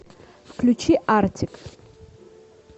включи артик